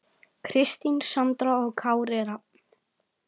Kristín Sandra og Kári Rafn.